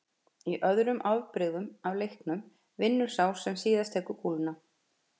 Í öðrum afbrigðum af leiknum vinnur sá sem tekur síðustu kúluna.